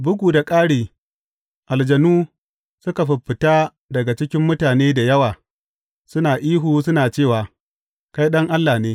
Bugu da ƙari, aljanu suka fiffita daga cikin mutane da yawa suna ihu suna cewa, Kai Ɗan Allah ne!